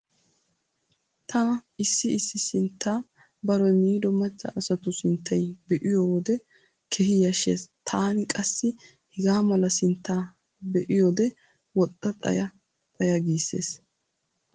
Tana issi issi sinttaa baroy miido macca asatu sinttay be'iyo wode keehi yashshees. Tani qassi hegaa mala sintta be'iyode woxxa xaya xaya giissees.